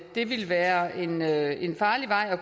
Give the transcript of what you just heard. det vil være en være en farlig vej at